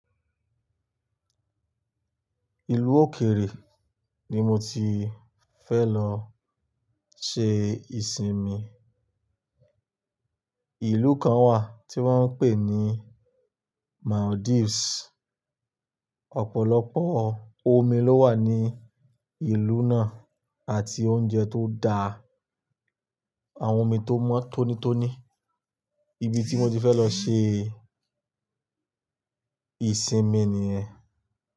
Ìlú òkèèrè ni mo ti fẹ́ lọ ṣe ìsinmi. Ìlú kan wà tí wọ́n ń pè ní Maldives. Ọ̀pọ̀lọpọ̀ omi ló wà ní ìlú náà àti oúnjẹ́ tó dá, àwọn omi tó mọ́ tónítóní. Ibi tí mo ti fẹ́ lọ ṣe ìsinmi niyẹ́n.